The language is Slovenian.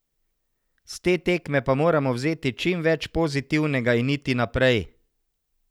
S te tekme pa moramo vzeti čim več pozitivnega in iti naprej.